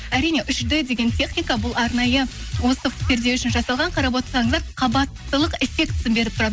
әрине үш д деген техника бұл арнайы осы перде үшін жасалған қарап отырсаңыздар қабаттылық эффектісін беріп тұрады